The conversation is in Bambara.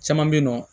Caman bɛ yen nɔ